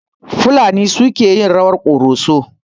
Fulani suke yin rawar ƙoroso.